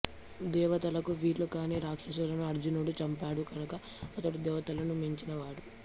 దేవతలకు వీలు కాని రాక్షసులను అర్జునుడు చంపాడు కనుక అతడు దేవతలను మించిన వాడు